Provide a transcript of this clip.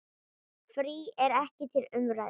Frí er ekki til umræðu.